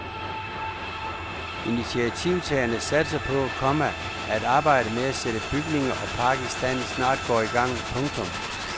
Initiativtagerne satser på, komma at arbejdet med at sætte bygninger og park i stand snart går i gang. punktum